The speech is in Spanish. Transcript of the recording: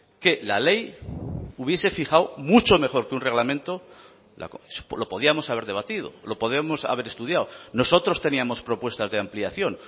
que la ley hubiese fijado mucho mejor que un reglamento lo podíamos haber debatido lo podemos haber estudiado nosotros teníamos propuestas de ampliación